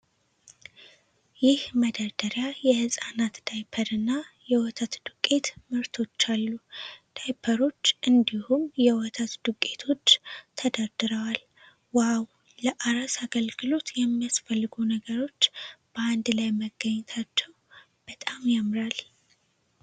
ይሄ መደርደሪያ የሕፃናት ዳይፐር እና የወተት ዱቄት ምርቶች አሉ። ዳይፐሮች እንዲሁም እና የወተት ዱቄቶች ተደርድረዋል። "ዋው፣ ለአራስ ግልጋሎት የሚያስፈልጉ ነገሮች በአንድ ላይ መገኘታቸው በጣም ያምራል።"